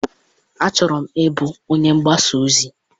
Achọrọ m ịbụ onye mgbasa ozi.